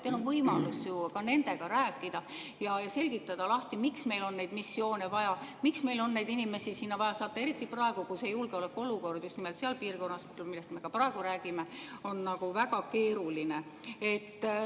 Teil on võimalus ju ka nendega rääkida ja selgitada, miks meil on neid missioone vaja, miks meil on neid inimesi vaja sinna saata, eriti praegu, kui julgeolekuolukord on just nimelt selles piirkonnas, millest me praegu räägime, väga keeruline.